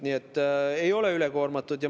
Nii et ei ole ülekoormatud.